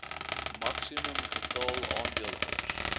maksimum getal aandeelhouers